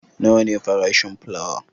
Nawa ne farashin fulawa?